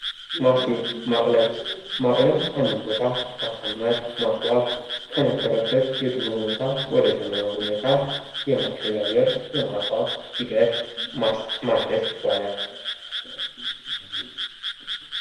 ማስጌጥ ማቅለም ማቅለም አንድን ቦታ ማሳመር ማስዋብ ከነበረበት የድሮ ሁኔታ ወደ ዘመናዊ ሁኔታ የማሸጋገር የማስዋብ ሂደት ማስጌጥ ይባላል።